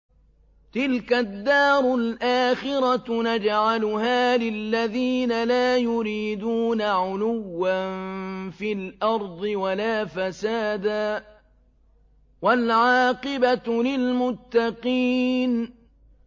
تِلْكَ الدَّارُ الْآخِرَةُ نَجْعَلُهَا لِلَّذِينَ لَا يُرِيدُونَ عُلُوًّا فِي الْأَرْضِ وَلَا فَسَادًا ۚ وَالْعَاقِبَةُ لِلْمُتَّقِينَ